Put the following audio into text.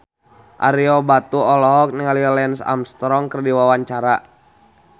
Ario Batu olohok ningali Lance Armstrong keur diwawancara